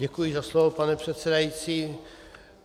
Děkuji za slovo, pane předsedající.